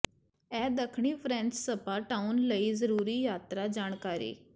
ਇਹ ਦੱਖਣੀ French spa town ਲਈ ਜ਼ਰੂਰੀ ਯਾਤਰਾ ਜਾਣਕਾਰੀ